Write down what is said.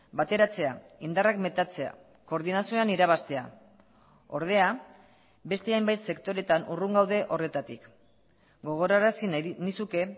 bateratzea indarrak metatzea koordinazioan irabaztea ordea beste hainbat sektoretan urrun gaude horretatik gogorarazi nahi nizuke